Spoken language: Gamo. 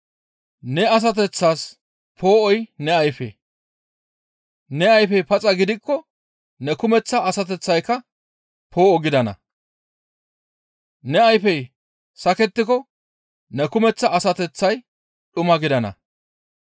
Ne asateththas poo7oy ne ayfe; ne ayfey paxa gidikko ne kumeththa asateththayka poo7o gidana; ne ayfey sakettiko ne kumeththa asateththay dhuma gidana.